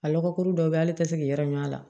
A lɔgɔ kuru dɔ be yen ale te se k'i yɛrɛ ɲ'a la